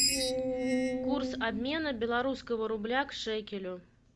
курс обмена белорусского рубля к шекелю